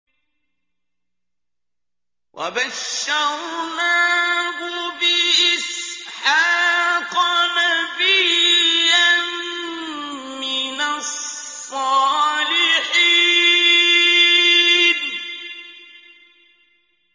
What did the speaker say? وَبَشَّرْنَاهُ بِإِسْحَاقَ نَبِيًّا مِّنَ الصَّالِحِينَ